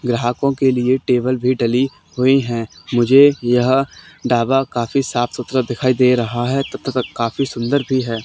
ग्राहकों के लिए टेबल भी डली हुई है मुझे यह ढाबा काफी साफ सुथरा दिखाई दे रहा है तथा काफी सुंदर भी है।